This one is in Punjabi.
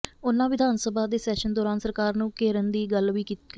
ਉਨ੍ਹਾਂ ਵਿਧਾਨ ਸਭਾ ਦੇ ਸੈਸ਼ਨ ਦੌਰਾਨ ਸਰਕਾਰ ਨੂੰ ਘੇਰਨ ਦੀ ਗੱਲ ਵੀ ਕਹੀ